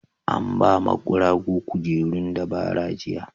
An ba ma guragu kujerun dabara jiya.